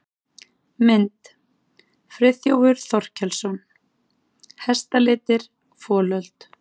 Mynd: Friðþjófur Þorkelsson: Hestalitir- folöld.